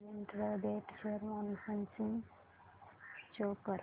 Patel integrate share analysis show कर